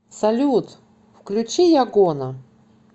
салют включи ягона